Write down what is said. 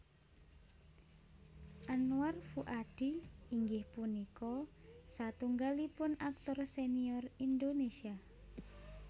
Anwar Fuady inggih punika satunggalipun aktor senior Indonesia